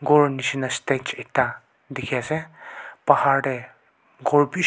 ghor nisna stage ekta dikhi ase pahar teh ghor bhisi--